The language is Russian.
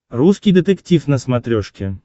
русский детектив на смотрешке